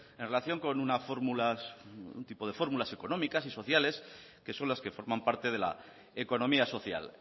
en relación con unas fórmulas económicas y sociales que son las que forman parte de la economía social